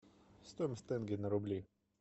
стоимость тенге на рубли